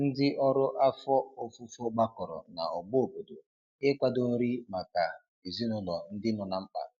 Ndi ọrụ afọ ọfufo gbakọrọ na ogbo obodo ị kwado nri maka ezinulo ndi nọ na mkpa